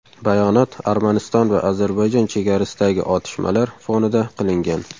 Bayonot Armaniston va Ozarbayjon chegarasidagi otishmalar fonida qilingan.